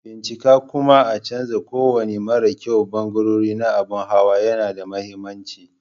Bincika kuma a canza kowane mara kyau ɓangarori na abin hawa yana da mahimmanci.